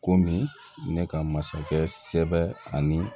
Komi ne ka masakɛ sɛbɛ ani